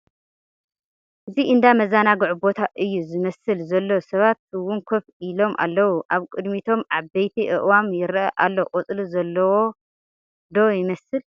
እዚ እንዳ መዘናግዒ ቦታ እዩ ዝመስል ዘሎ ሰባት 'ውን ከፍ ኢሎም ኣለዉ፡ ኣብ ቕድሚቶም ዓበይቲ አእዋም ይረኣ ኣሎ ቖፅሊ ዘለዋ ' ዶ ይመስል ?